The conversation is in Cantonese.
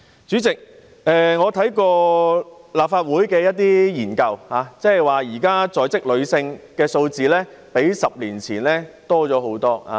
主席，我曾翻閱立法會進行的研究，發現現時在職女性數目比10年前大幅增加。